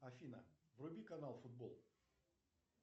афина вруби канал футбол